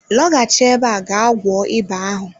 Lọghachi ebe a ga gwọọ ịba ahụ.